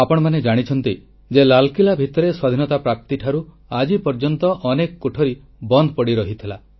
ଆପଣମାନେ ଜାଣିଛନ୍ତି ଯେ ଲାଲକିଲ୍ଲା ଭିତରେ ସ୍ୱାଧୀନତା ପ୍ରାପ୍ତି ଠାରୁ ଆଜି ପର୍ଯ୍ୟନ୍ତ ଅନେକ କୋଠରୀ ବନ୍ଦ ପଡ଼ି ରହିଥିଲା